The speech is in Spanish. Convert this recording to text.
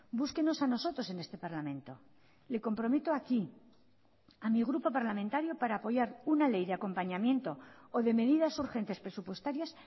búsquenos a nosotros en este parlamento le comprometo aquí a mi grupo parlamentario para apoyar una ley de acompañamiento o de medidas urgentes presupuestarias